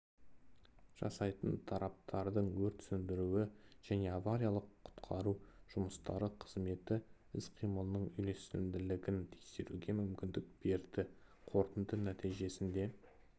жасайтын тараптардың өрт сөндіру және авариялық-құтқару жұмыстары қызметі іс-қимылының үйлесімділігін тексеруге мүмкіндік берді қорытынды нәтижесінде